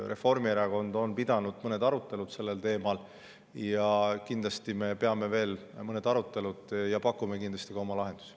Reformierakond on pidanud mõned arutelud sellel teemal ning kindlasti peame veel mõned arutelud ja pakume ka oma lahendusi.